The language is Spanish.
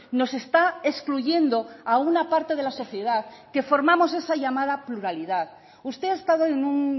nos está excluyendo a una parte de la sociedad que formamos esa llamada pluralidad usted ha estado en un